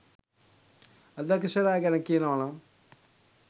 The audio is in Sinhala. අධ්‍යක්ෂකවරයා ගැන කියනවානම්